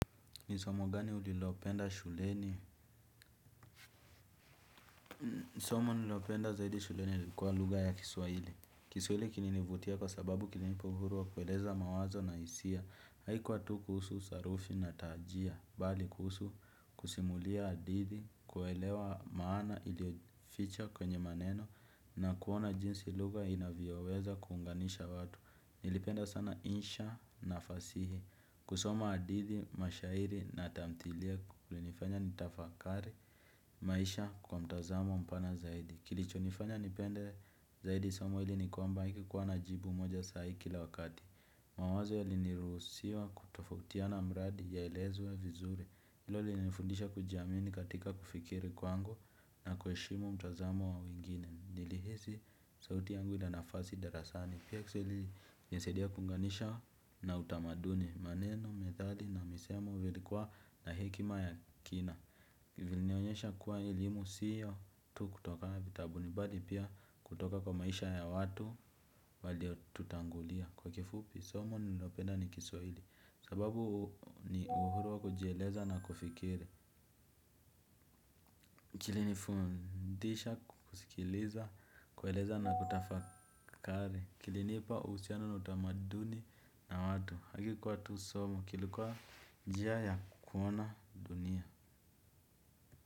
Ni somo gani ulilopenda shuleni? Somo nililopenda zaidi shuleni lilikuwa lugha ya kiswaili. Kiswahili kilinivutia kwa sababu kilinipa uhuru wa kueleza mawazo na hisia. Haikuwa tu kuhusu sarufi na taajia. Bali kuhusu kusimulia hadithi, kuelewa maana iliyo ficha kwenye maneno na kuona jinsi lugha inavyoweza kuunganisha watu. Nilipenda sana insha na fasihi. Kusoma hadithi, mashairi na tamtihilia kulinifanya nitafakari maisha kwa mtazamo mpana zaidi. Kilichonifanya nipende zaidi somo hili ni kwamba ikukuwa na jibu moja sahi kila wakati. Mawazo yalinirusiwa kutofutiana mradi yaelezwe vizuri. Hilo linifundisha kujiamini katika kufikiri kwangu na kuheshimu mtazamo wa wingine. Nilihisi sauti yangu na darasani. Pia kiswahili ilinisaidia kuunganisha na utamaduni. Maneno, methali na misemo vilikuwa na hekima ya kina. Vilinionyesha kuwa elimu siyo tu kutoka vitabuni. Bali pia kutoka kwa maisha ya watu waliotutangulia. Kwa kifupi, somo nililopenda ni kiswahili. Sababu ni uhuru wa kujieleza na kufikiri. Kilinifundisha kusikiliza, kueleza na kutafakari. Kilinipa uhusiano na utamaduni na watu. Hakikuwa tu somo kilikuwa jia ya kuona dunia.